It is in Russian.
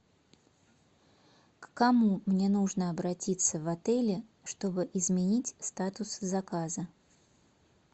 к кому мне нужно обратиться в отеле чтобы изменить статус заказа